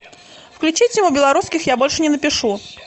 включи тиму белорусских я больше не напишу